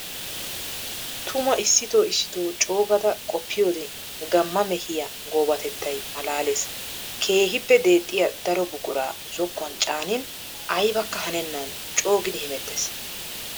Tumma issitto issitto coo gaada qoppiyoode gamma mehiya goobatettay malaales. Keehippe deexxiya daro buqura zokkuwan caanin aybbakka hanenan coo giidi hemeetes.